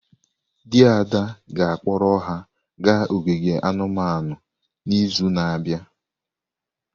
Di Ada ga-akpọrọ ha gaa ogige anumanu n’izu na-abịa.